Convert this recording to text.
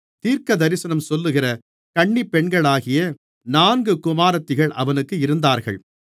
தீர்க்கதரிசனம் சொல்லுகிற கன்னிப் பெண்களாகிய நான்கு குமாரத்திகள் அவனுக்கு இருந்தார்கள்